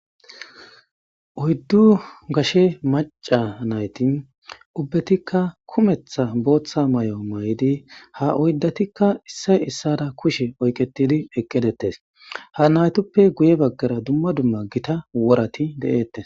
Oyiddu gashe Macca nayti ubbetika boththa kummetha mayo mayidi ha oyiddatika issoy issara kushe oyikketidi eqqidetes ha natuppe guye baggara duma duma gitta woratta de'etes.